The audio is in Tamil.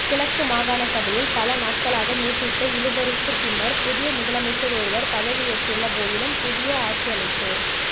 கிழக்கு மாகாணசபையில் பல நாட்களாக நீடித்த இழுபறிக்குப் பின்னர் புதிய முதலமைச்சர் ஒருவர் பதவியேற்றுள்ள போதிலும் புதிய ஆட்சியமைப்பு